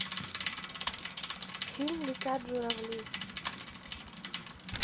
фильм летят журавли